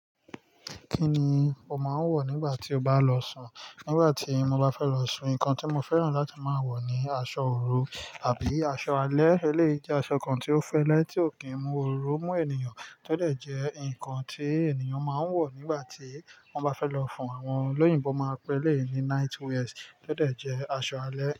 Kí ni o máa ń wọ̀ nígbà tí o bá lọ sùn? Nígbà tí mo bá fẹ́ lọ sùn, nǹkan tí mo fẹ́ràn láti máa wọ̀ ni aṣọ òro àbí aṣọ alẹ́. Eléyìí jẹ́ aṣọ kan tí ó fẹ́lẹ́ tí ò kí ń mú oró mú ènìyàn. A tó dẹ̀ jẹ́ ǹkan tí ènìyàn máa ń wọ̀ nígbà tí wọ́n bá fẹ́ lọ fún àwọn olóyìn. Wọ́n máa pè é ní night wears, tọ dẹ̀ jẹ́ aṣọ alẹ́